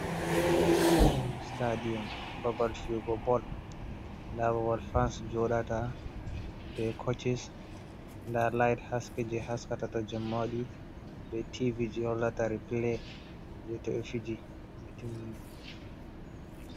Stadiyom babal fiyugo bol nda babal fans joɗata be coches nda lait haske je haskata to jemma waɗi be tv je hollata replay je to ɓe fiji.